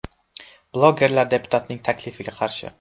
Blogerlar deputatning taklifiga qarshi.